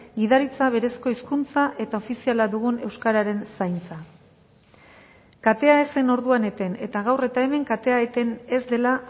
gidaritza berezko hizkuntza eta ofiziala dugun euskararen zaintza katea ez zen orduan eten eta gaur eta hemen katea eten ez dela